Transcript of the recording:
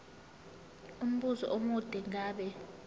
umbuzo omude ngabe